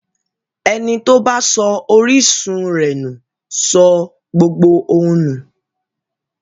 Ẹni tó bá sọ orísun rẹ̀ nù sọ gbogbo ohun nù.